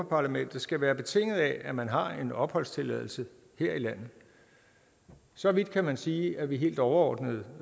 parlamentet skal være betinget af at man har en opholdstilladelse her i landet så vidt kan man sige at vi helt overordnet